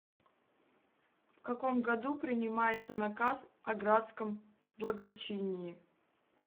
в каком году принимается наказ о градском благочинии